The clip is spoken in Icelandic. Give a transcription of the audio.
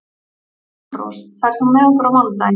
Svanrós, ferð þú með okkur á mánudaginn?